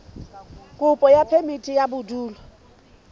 kopo ya phemiti ya bodulo